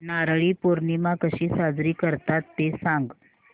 नारळी पौर्णिमा कशी साजरी करतात ते सांग